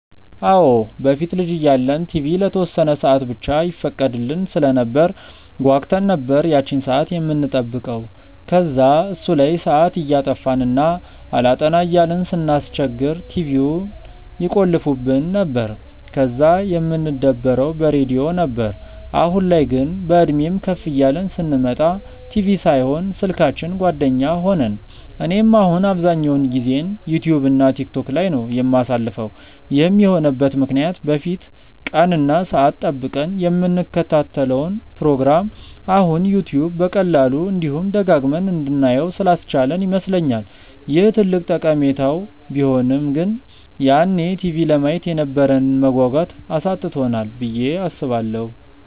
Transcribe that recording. አዎ። በፊት ልጅ እያለን ቲቪ ለተወሰነ ሰአት ብቻ ይፈቀድልን ስለነበር ጓጉተን ነበር ያቺን ሰአት የምንጠብቀው። ከዛ እሱ ላይ ሰአት እያጠፋን እና አላጠና እያልን ስናስቸግር ቲቪውን ይቆልፉብን ነበር፤ ከዛ የምንደበረው በሬድዮ ነበር። አሁን ላይ ግን፤ በእድሜም ከፍ እያልን ስንመጣ ቲቪ ሳይሆን ስልካችን ጓደኛ ሆነን። እኔም አሁን አብዛኛውን ጊዜዬን ዩትዩብ እና ቲክቶክ ላይ ነው የማሳልፈው። ይህም የሆነበት ምክንያት በፊት ቀን እና ሰአት ጠብቀን የምንከታተለውን ፕሮግራም አሁን ዩትዩብ በቀላሉ፤ እንዲሁም ደጋግመን እንድናየው ስላስቻለን ይመስለኛል። ይህ ትልቅ ጠቀሜታው ቢሆንም ግን ያኔ ቲቪ ለማየት የነበረንን መጓጓት አሳጥቶናል ብዬ አስባለሁ።